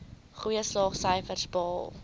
goeie slaagsyfers behaal